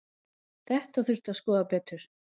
Þetta þurfi að skoða betur.